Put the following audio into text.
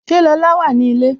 Ṣé Lola wà ní ilé?